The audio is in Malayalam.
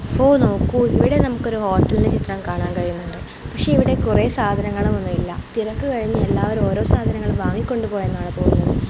ഒഹ് നോക്കൂ ഇവിടെ നമ്മുക്കൊരു ഹോട്ടലിൻ്റെ ചിത്രം കാണാൻ കഴിയുന്നുണ്ട് പക്ഷെ ഇവിടെ കൊറേ സാധനങ്ങളും ഒന്നുമില്ല തിരക്ക് ക്കഴിഞ്ഞു എല്ലാവരും ഓരോ സാധനങ്ങളും വാങ്ങികൊണ്ടു പോയെന്നാണ് തോന്നുന്നത്.